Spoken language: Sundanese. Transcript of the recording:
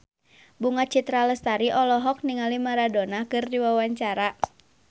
Bunga Citra Lestari olohok ningali Maradona keur diwawancara